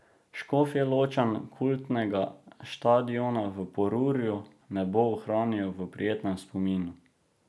Škofjeločan kultnega štadiona v Porurju ne bo ohranil v prijetnem spominu.